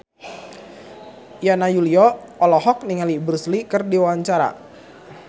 Yana Julio olohok ningali Bruce Lee keur diwawancara